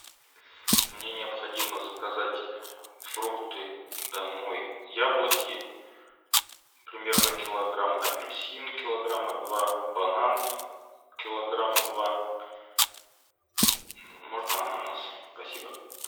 мне необходимо заказать фрукты домой яблоки примерно килограмм апельсин килограмма два банан килограмма два можно ананас спасибо